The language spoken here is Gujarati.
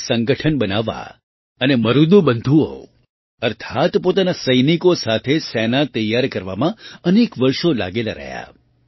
તેઓ સંગઠન બનાવવા અને મરુદુ બંધુઓ અર્થાત્ પોતાના સૈનિકો સાથે સેના તૈયાર કરવામાં અનેક વર્ષો લાગેલાં રહ્યાં